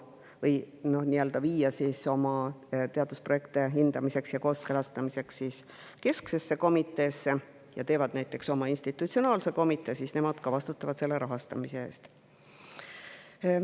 Kui nad ei soovi viia oma teadusprojekte hindamiseks ja kooskõlastamiseks kesksesse komiteesse ja teevad näiteks oma institutsionaalse komitee, siis nad vastutavad ka selle rahastamise eest.